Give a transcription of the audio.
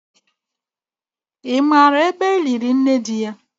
Ị maara ebe eliri nne di ya?